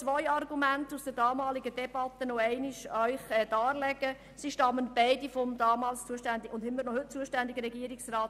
Zwei Argumente des thematisch zuständigen Regierungsrats Käser in der damaligen Debatte möchte ich anführen.